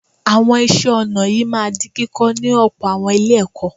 Àwọn iṣẹ́ ọnà yìí máa di kíkọ́ ní ọ̀pọ̀ àwọn Ilé-ẹ̀kọ́